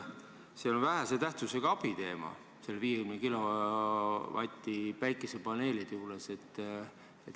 See on vähese tähtsusega abi teema, see 50 kW päikesepaneelidega seonduv.